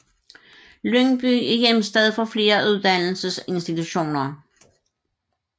Lyngby er hjemsted for flere uddannelsesinstitutioner